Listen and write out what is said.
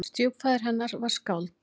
Stjúpfaðir hennar var skáld.